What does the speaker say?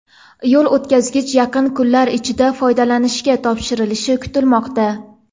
Yo‘l o‘tkazgich yaqin kunlar ichida foydalanishga topshirilishi kutilmoqda.